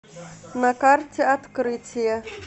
на карте открытие